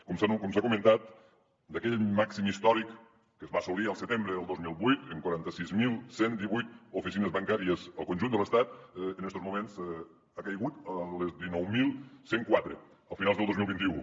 com s’ha comentat d’aquell màxim històric que es va assolir el setembre del dos mil vuit amb quaranta sis mil cent i divuit oficines bancàries al conjunt de l’estat en estos moments ha caigut a les dinou mil cent i quatre a finals del dos mil vint u